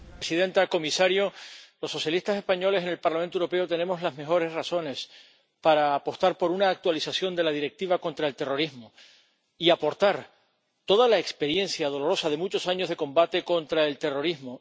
Señora presidenta, comisario, los socialistas españoles en el Parlamento Europeo tenemos las mejores razones para apostar por una actualización de la Directiva relativa a la lucha contra el terrorismo, y aportar toda la experiencia dolorosa de muchos años de combate contra el terrorismo.